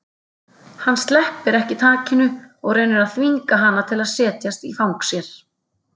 Hann sleppir ekki takinu og reynir að þvinga hana til að setjast í fang sér.